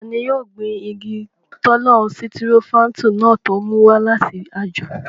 Tani yóò gbin igi tọ́lọ́n sitirofáńtù náà tó mú wá láti àjò?